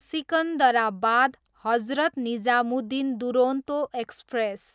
Secunderabad, Hazrat Nizamuddin Duronto express